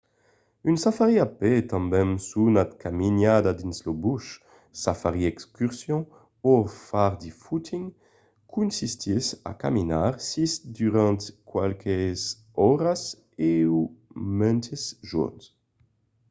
un safari a pè tanben sonat caminada dins lo bush safari excursion o far de footing consistís a caminar siá durant qualques oras o mantes jorns